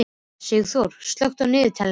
Sigþór, slökktu á niðurteljaranum.